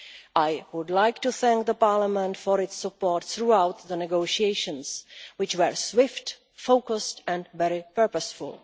I would like to thank Parliament for its support throughout the negotiations, which were swift, focused and very purposeful.